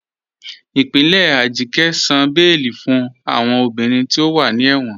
Ipinlẹ̀ Ajike sàn bẹẹ̀lì fún awọn obìnrin tí o wà ní ẹ̀wọn.